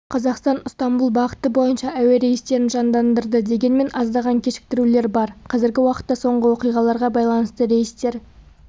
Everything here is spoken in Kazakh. қазақстан ыстамбұл бағыты бойынша әуерейстерін жандандырды дегенмен аздаған кешіктірулер бар қазіргі уақытта соңғы оқиғаларға байланысты рейстер